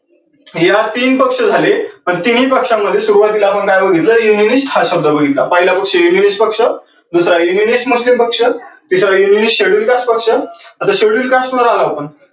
यात तीन पक्ष झाले अन तीनही पक्षांमध्ये सुरुवातीला आपण काय बघितल? हा शब्द बघितला. पहिला पक्ष पक्ष, दुसरा पक्ष, तिसरा पक्ष. आता schedule cast पाहणार आहो आपण